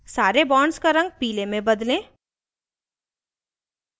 सारे bonds का रंग पीले में बदलें